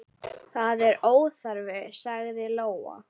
Það er óþarfi, sagði Lóa.